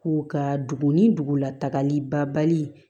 K'u ka dugu ni dugulatagali bali